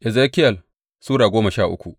Ezekiyel Sura goma sha uku